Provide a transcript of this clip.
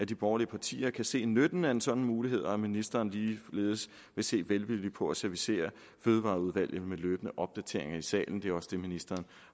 de borgerlige partier kan se nytten af en sådan mulighed og at ministeren ligeledes vil se velvilligt på at servicere fødevareudvalget med løbende opdateringer i salen det er også det ministeren